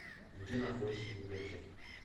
где находится библиотека